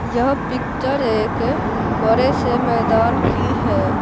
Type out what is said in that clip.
यह पिक्चर एक बड़े से मैदान की है।